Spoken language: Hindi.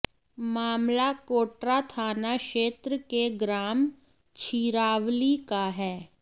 मामला कोटरा थाना क्षेत्र के ग्राम छिरावली का है